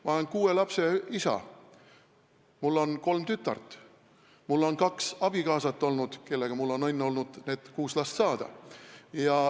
Ma olen kuue lapse isa, mul on kolm tütart, mul on olnud kaks abikaasat, kellega mul on olnud õnn need kuus last saada.